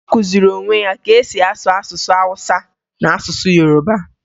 Ọ kụziri onwe ya ka e si asụ asụsụ Awụsa na asụsụ Yoroba